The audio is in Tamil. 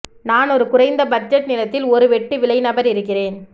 நான் ஒரு குறைந்த பட்ஜெட் நிலத்தில் ஒரு வெட்டு விலை நபர் இருக்கிறேன்